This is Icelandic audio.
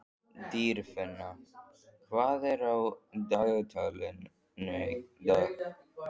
Dýrfinna, hvað er á dagatalinu í dag?